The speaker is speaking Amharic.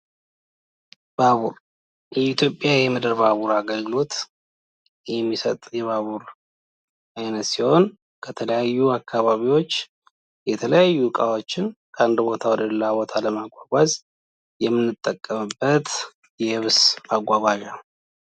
ባቡር፦ የኢትዮጵያ የምድር ባቡር አገልግሎት የሚሰጥ የባቡር አይነት ሲሆን ፤ ከተለያዩ አካባቢዎች የተለያዩ እቃዎችን ከአንድ ቦታ ወደ ሌላ ቦታ ለማጓጓዝ የምንጠቀምበት የየብስ ማጓጓዣ ነው።